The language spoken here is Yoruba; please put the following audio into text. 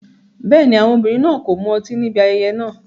Bẹ́ẹ̀ni, àwọn obìnrin náà kò mu ọtí níbi ayẹyẹ náà.